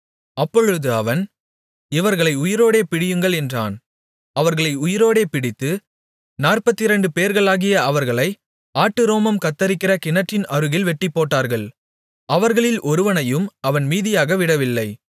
அப்பொழுது அவன் இவர்களை உயிரோடே பிடியுங்கள் என்றான் அவர்களை உயிரோடே பிடித்து நாற்பத்திரண்டுபேர்களாகிய அவர்களை ஆட்டு ரோமம் கத்தரிக்கிற கிணற்றின் அருகில் வெட்டிப்போட்டார்கள் அவர்களில் ஒருவனையும் அவன் மீதியாக விடவில்லை